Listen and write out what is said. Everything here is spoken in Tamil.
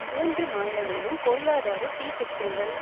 மூன்று மாநிலங்களிலும் பொருளாதார சீர்திருத்தங்கள்